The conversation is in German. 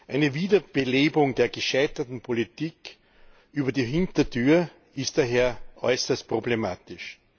Eine Wiederbelebung der gescheiterten Politik über die Hintertür ist daher äußerst problematisch.